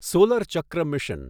solar ચક્ર mission